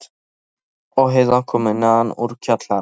Mamma og Heiða komu neðan úr kjallara.